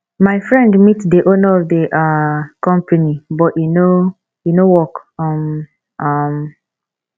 my friend meet the owner of the um company but e no work um um